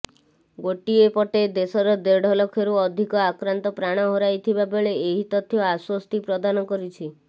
ଗୋଟିଏ ପଟେ ଦେଶରେ ଦେଢଲକ୍ଷରୁ ଅଧିକ ଆକ୍ରାନ୍ତ ପ୍ରାଣ ହରାଇଥିବା ବେଳେ ଏହି ତଥ୍ୟ ଆଶ୍ୱସ୍ତି ପ୍ରଦାନ କରିଛି